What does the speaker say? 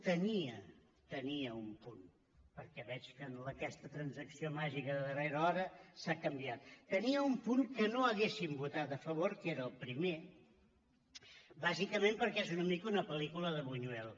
tenia tenia un punt perquè veig que amb aquesta transacció màgica de darrera hora s’ha canviat que no hauríem votat a favor que era el primer bàsicament perquè és una mica una pel·lícula de buñuel